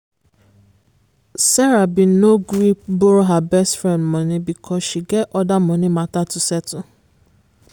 sarah been no gree borrow her best friend money because she get other money matter to settle.